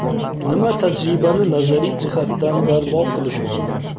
Nima tajribani nazariy jihatdan barbod qilishi mumkin?